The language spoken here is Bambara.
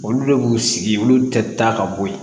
Olu de b'u sigi olu tɛ taa ka bɔ yen